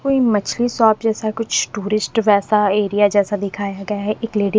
कोई मछली शॉप जैसा कुछ टूरिस्ट वैसा एरिया जैसा दिखाया गया है एक लेडी --